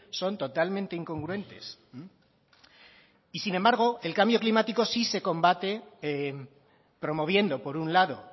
son totalmente incongruentes y sin embargo el cambio climático sí se combate promoviendo por un lado